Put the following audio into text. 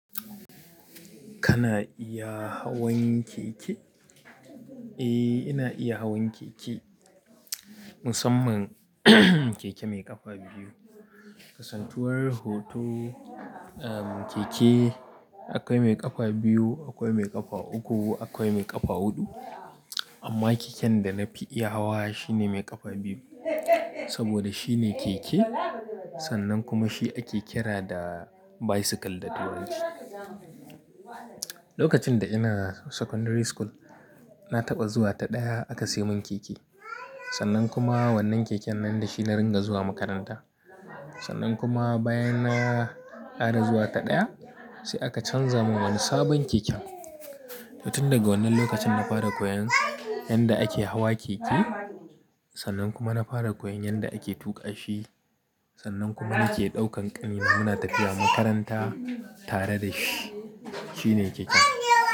Kana iya hawan keke? Eh, ina iya hawan keke. Musamman keke mai ƙafa biyu. Kasantuwar hoto, uhm, keke akwai mai ƙafa biyu, akwai mai ƙafa uku, akwai mai ƙafa huɗu. Amma keken da na fi iya hawa shine mai ƙafa biyu. Saboda shine keke sannan kuma shi ake kira da bicycle da turanci. Lokacin da ina secondary school, na taɓa zuwa ta ɗaya aka sai mun keke. Sannan kuma wannan keken nan da shi na ringa zuwa makaranta. Sannan kuma bayan na ƙara zuwa ta ɗaya sai aka canza mun wani sabon keken. To tun daga wannan lokacin na fara koyan yanda ake hawa keke. Sannan kuma na fara koyan yanda ake tuƙa shi. Sannan kuma nake ɗaukan ƙanina muna tafiya makaranta tare da shi. Shi ne keken.